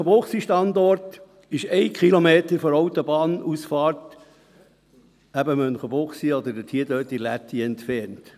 » Der Münchenbuchsee-Standort ist einen Kilometer von der Autobahnausfahrt Münchenbuchsee oder von der Lätti entfernt.